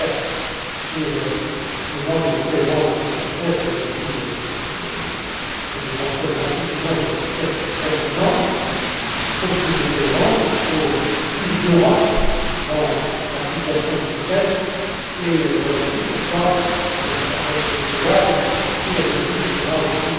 comme M. Lamberts, sur le manque de cohérence des stress tests. J'ai dit ce que je pensais de l'insuffisance des tests précédents. Il faut plus de cohérence, il faut plus d'Europe dans l'application de ces tests, et voilà aussi pourquoi avec l'EBA, la peer review